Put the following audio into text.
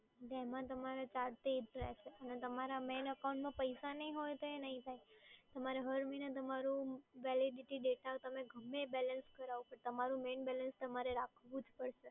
એમાં તમારે ચાર્જ તો એ જ રહેશે અને તમારા મેઈન એકાઉન્ટમાં પૈસા નઈ હોય તો એ નઈ થાય, તમારે હર મહિને તમારું વેલિડિટી, ડેટા તમે ગમે એ બેલેન્સ કરાવો પણ તમારું મેઈન બલેન્સ તમારે રાખવું જ પડશે.